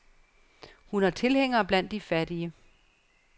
Hun har tilhængere blandt de fattige.